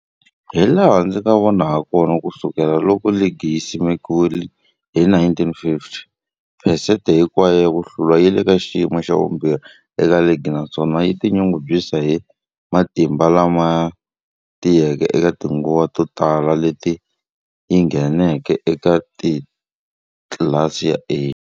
Hilaha ndzi nga vona hakona, ku sukela loko ligi yi simekiwile, 1950, phesente hinkwayo ya ku hlula yi le ka xiyimo xa vumbirhi eka ligi, naswona yi tinyungubyisa hi matimba lama tiyeke eka tinguva to tala leti yi ngheneke eka tlilasi ya A.